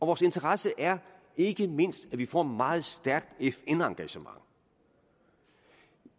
vores interesse er ikke mindst at vi får et meget stærkt fn engagement